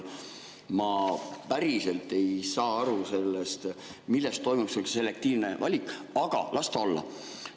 Ma päriselt ei saa aru, mille järgi toimub see selektiivne valik, aga las ta olla.